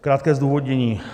Krátké zdůvodnění.